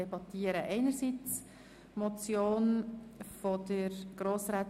Anschliessend erhalten die Fraktionen das Wort.